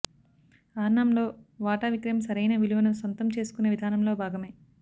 ఆర్నామ్లో వాటా విక్రయం సరైన విలువను సొంతం చేసుకునే విధానంలో భాగమే